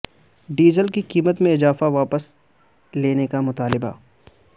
diesel کی قیمت میں اضافہ واپس لینے کا مطالبہ